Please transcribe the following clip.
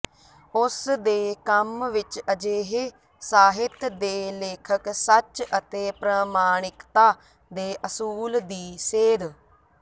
ਉਸ ਦੇ ਕੰਮ ਵਿਚ ਅਜਿਹੇ ਸਾਹਿਤ ਦੇ ਲੇਖਕ ਸੱਚ ਅਤੇ ਪ੍ਰਮਾਣਿਕਤਾ ਦੇ ਅਸੂਲ ਦੀ ਸੇਧ